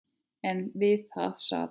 En við það sat.